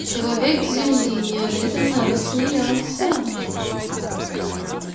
человек земли неожиданно рассмеялся